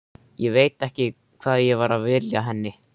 Ég veit ekki hvað ég var að vilja henni.